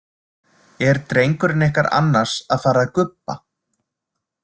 Er drengurinn ykkar annars að fara að gubba?